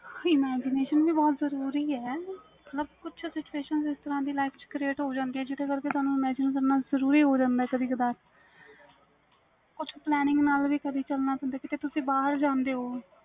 imagetion ਵੀ ਬਹੁਤ ਜਰੂਰੀ ਵ ਮਤਬਲ ਕੁਛ ਇਸ ਤਰਾਂ ਦੀ situation life ਚ cearte ਹੋ ਜਾਂਦੀਆਂ ਨੇ ਅਗਰ ਜਿਦੇ ਕਰਕੇ ਤੁਹਾਨੂੰ imagetion ਕਰਨਾ ਜਰੂਰੀ ਹੋ ਜਾਂਦਾ ਵ ਕਦੇ ਕੁਛ planning ਨਾਲ ਵੀ ਚਲਣ ਪੈਂਦਾ ਵ ਕੀਤੇ ਤੁਸੀ ਬਹਾਰ ਜਾਂਦੇ ਹੋ